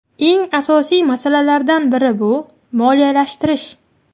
Eng asosiy masalalardan biri bu moliyalashtirish.